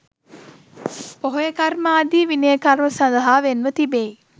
පොහොය කර්ම ආදී විනය කර්ම සඳහා වෙන්ව තිබෙයි.